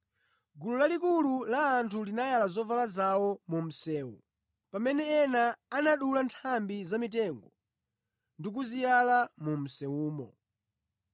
Gulu lalikulu la anthu linayala zovala zawo mu msewu pamene ena anadula nthambi zamitengo ndi kuziyala mu msewumo.